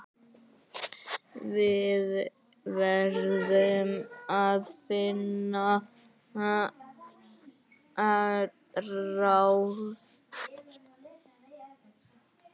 Við verðum að finna ráð.